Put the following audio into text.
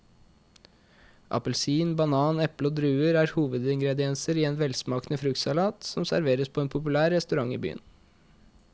Appelsin, banan, eple og druer er hovedingredienser i en velsmakende fruktsalat som serveres på en populær restaurant i byen.